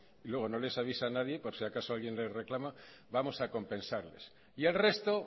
y luego no les avisa nadie por si acaso alguien les reclama vamos a compensarles y el resto